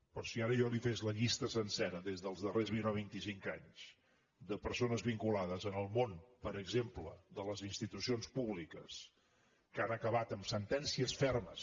però si ara jo li fes la llista sencera des dels darrers vint o vinticinc anys de persones vinculades en el món per exemple de les institucions públiques que han acabat amb sentències fermes